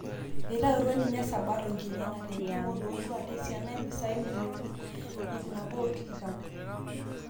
Eitautuo ninye Sabato nkinina tentim ololua tesiana omppisai milionini 120